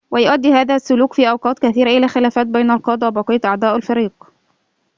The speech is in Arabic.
ويؤدي هذا السلوك في أوقات كثيرة إلى خلافات بين القادة وبقية أعضاء الفريق